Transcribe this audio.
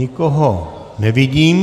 Nikoho nevidím.